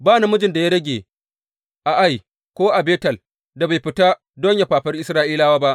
Ba namijin da ya rage a Ai ko Betel da bai fita don yă fafari Isra’ilawa ba.